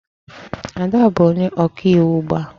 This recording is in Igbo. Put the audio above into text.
Ada bụ onye ọkaiwu ugbu a